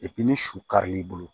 ni su karil'i bolo